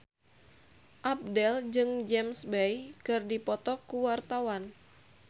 Abdel jeung James Bay keur dipoto ku wartawan